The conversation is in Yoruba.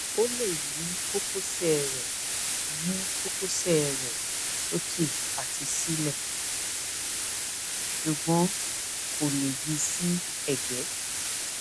ó lè yí kókósẹ yí kókósẹ rẹ sókè àti sílẹ ṣùgbọn kò lè yi sí ẹgbẹ